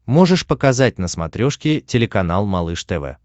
можешь показать на смотрешке телеканал малыш тв